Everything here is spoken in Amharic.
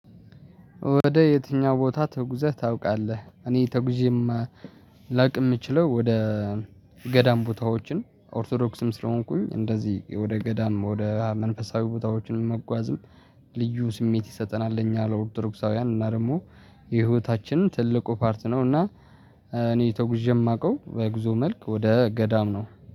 ወደ የትኛው ቦታ ተጉዘህ ታውቃለህ? እኔ ተጉዤም ላውቅ የምችለው። ወደ ገዳም ቦታዎችን ኦርቶዶክስም ስለሆንኩኝ እንደዚህ ወደ ገዳም ወደ መንፈሳዊ ቦታዎችን መጓዝም ልዩ ስሜት ይሰጠናል። ለእኛ ለኦርቶዶክሳውያን እና ደግሞ የህይወታችን ትልቁ ፓርት ነው። እና እኔ ተጉዤ የማውቀው በጉዞ መልክ ወደ ገዳም ነው